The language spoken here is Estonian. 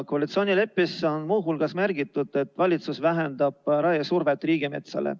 Koalitsioonileppes on muu hulgas märgitud, et valitsus vähendab raiesurvet riigimetsale.